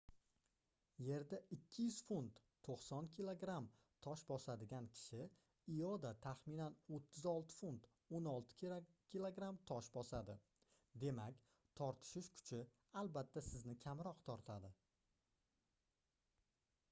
yerda 200 funt 90 kg tosh bosadigan kishi ioda taxminan 36 funt 16 kg tosh bosadi. demak tortishish kuchi albatta sizni kamroq tortadi